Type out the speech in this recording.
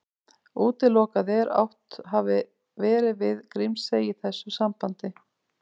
Útilokað er að átt hafi verið við Grímsey í þessu sambandi.